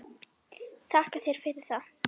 Þakka þér fyrir það.